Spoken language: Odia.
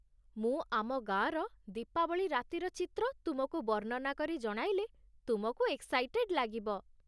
ମୁଁ ଆମ ଗାଁର ଦୀପାବଳି ରାତିର ଚିତ୍ର ତୁମକୁ ବର୍ଣ୍ଣନା କରି ଜଣାଇଲେ ତୁମକୁ ଏକ୍ସାଇଟେଡ଼୍ ଲାଗିବ ।